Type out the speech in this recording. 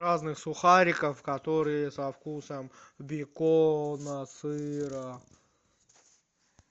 разных сухариков которые со вкусом бекона сыра